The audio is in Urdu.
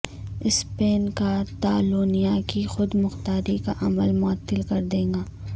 سپین کاتالونیہ کی خود مختاری کا عمل معطل کر دے گا